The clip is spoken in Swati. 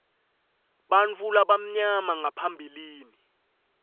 bantfu labamnyama ngaphambilini